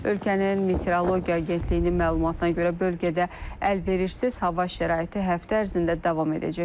Ölkənin Meteorologiya Agentliyinin məlumatına görə, bölgədə əlverişsiz hava şəraiti həftə ərzində davam edəcək.